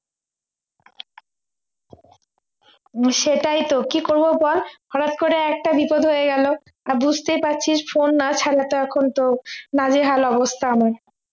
সেটাই তো কি করবো বল হঠাৎ করে একটা বিপদ হয়ে গেল আর বুঝতেই পারছিস phone না ছাড়া তো এখন তো নাজেহাল অবস্থা আমার